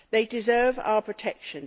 They deserve our protection.